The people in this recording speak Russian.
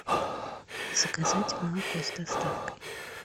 заказать молоко с доставкой